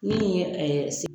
Min ye se